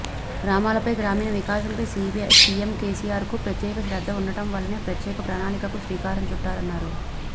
గ్రామాలపై గ్రామీణ వికాసంపై సిఎం కెసిఆర్కు ప్రత్యేక శ్రద్ధ ఉండడం వల్లనే ప్రత్యేక ప్రణాళికకు శ్రీకారం చుట్టారన్నారు